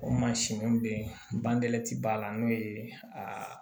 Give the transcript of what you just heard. O mansin bɛ yen banlɛ tɛ b'a la n'o ye a